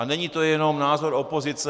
A není to jenom názor opozice.